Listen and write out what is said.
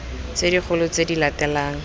tse dikgolo tse di latelang